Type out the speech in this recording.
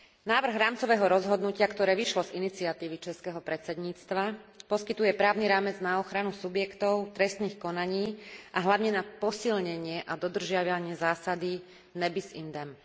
Návrh rámcového rozhodnutia, ktoré vyšlo z iniciatívy českého predsedníctva, poskytuje právny rámec na ochranu subjektov trestných konaní a hlavne na posilnenie a dodržiavanie zásady ne bis in idem